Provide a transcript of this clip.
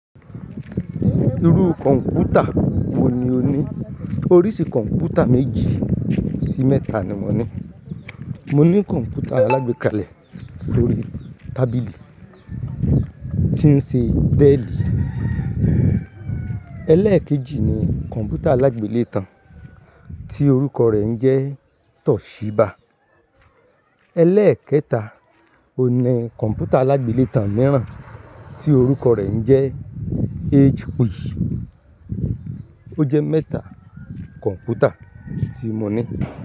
Irú kọ̀ǹpútà wo ni o ní? Oríṣi kọ̀ǹpútà méjì sí mẹ́ta ni mo ní. Mo ní kọ̀ǹpútà alágbékalẹ̀ sórí tábìlì tí ń ṣe Dell. Eléekèjì ni kọ̀ǹpútà alágbèlétan tí orúkọ rẹ̀ ń jẹ́ Toshiba. Eleékẹta ni kọ̀ǹpútà alágbèlétan mìíràn tí orúkọ rẹ̀ ń jẹ́ HP. O jẹ́ mẹ́ta kọ̀ǹpútà tí mo ní.